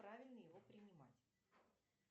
правильно его принимать